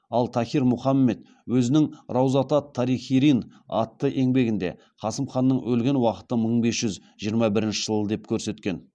ал тахир мұхаммед өзінің раузат ат тарихирин атты еңбегінде қасым ханның өлген уақыты мың бес жүз жиырма бірінші жыл деп көрсеткен